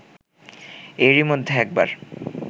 এরই মধ্যে একবার